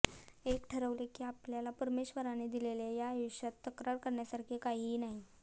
एक ठरवले की आपल्याला परमेश्वराने दिलेल्या या आयुष्यात तक्रार करण्यासारखे काहीही नाही